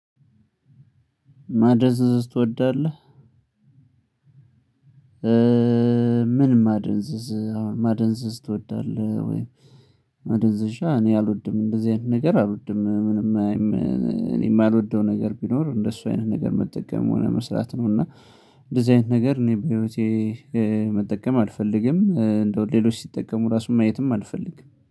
ማደንዘዝ ትወዳለህ? ምን ማደንዘዝ አሁን ማደንዘዝ ትወዳለህ ወይ? ማደንዘዣ እኔ አልወድም እንደዚህ አይነት ነገር አልወድም። ምንም የማልወደው ነገር ቢኖር እንደሱ አይነት ነገር መጠቀም መሆን መስራት ነው። እና እንደዚህ አይነት ነገር እኔ በህይወቴ መጠቀም አልፈልግም። እንደው ሌሎች ሲጠቀሙ ራሱን ማየትም አልፈልግም